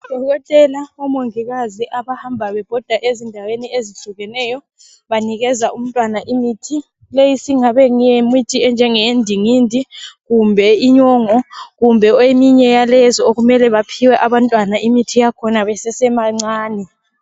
Odokotela omongikazi abahamba bebhoda ezindaweni ezitshiyeneyo banikeza umntwana imithi leyi singabe iyimithi enjenge yendingindi kumbe inyongo kumbe eminye yalezo okumele baphiwe abantwana imithi yakhona besesebancane